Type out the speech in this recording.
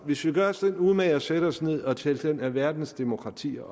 hvis vi gør os den umage at sætte os ned og tælle verdens demokratier